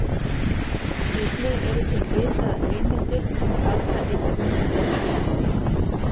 Einnig eru til ritaðar heimildir um galdraiðkun til forna.